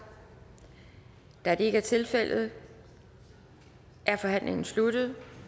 da det ikke er tilfældet er forhandlingen sluttet